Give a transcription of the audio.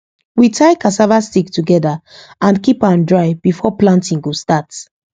we tie cassava stick together and keep am dry before planting go start